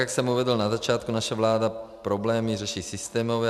Jak jsem uvedl na začátku, naše vláda problémy řeší systémově.